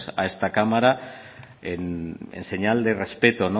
a esta cámara en señal de respeto